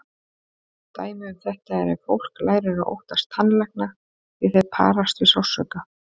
Dæmi um þetta er ef fólk lærir að óttast tannlækna því þeir parast við sársauka.